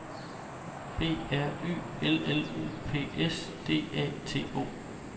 B R Y L L U P S D A T O